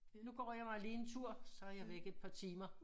Nu går jeg mig lige en tur så er jeg væk et par timer